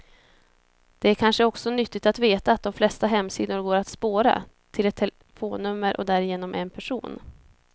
Det är kanske också nyttigt att veta att de flesta hemsidor går att spåra, till ett telefonnummer och därigenom en person.